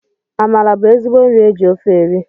Amala bụ ezigbo nri e ji ofe eri